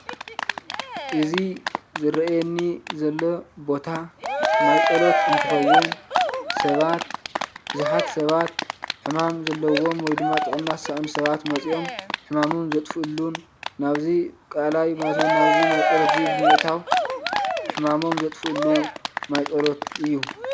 እዚ ዝርኣየኒ ዘሎ ቦታ ማይ ፀሎት እንትከውን ሰባት ቡዛሓት ሰባት ሕማም ዘሎዎም ውይ ድማ ጥዕና ዝሰኣኑ ሰባት መፅኦም ሕማሞም ዝጥፍእሉን ናብ እዚ ቀላይ ማለት እውን ናብዚ ማይ ፀሎትን ብእታዊ ሕማሞም ዝጥፍእሉ ማይ ፀሎት እዩ።